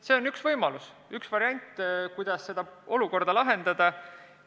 See on üks võimalus, üks variant, kuidas seda olukorda lahendada.